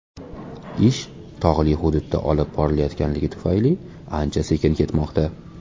Ish tog‘li hududda olib borilayotgani tufayli ancha sekin ketmoqda.